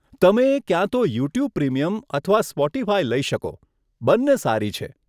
તમે ક્યાં તો યુટ્યુબ પ્રીમિયમ અથવા સ્પોટીફાય લઇ શકો, બંને સારી છે.